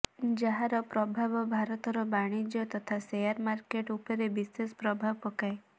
ଯାହାର ପ୍ରଭାବ ଭାରତର ବାଣିଜ୍ୟ ତଥା ସେୟାର ମାର୍କେଟ ଉପରେ ବିଶେଷ ପ୍ରଭାବ ପକାଏ